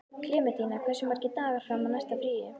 Klementína, hversu margir dagar fram að næsta fríi?